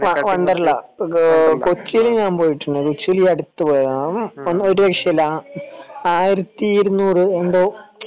വണ്ടർലാ കൊച്ചിയിൽ ഞാൻ പോയിട്ടുണ്ട് കൊച്ചിയില് ഈ അടുത്ത് പോയതാണ് അതൊരു വിഷയമല്ല ആയിരത്തി ഇരുനൂറു എന്തോ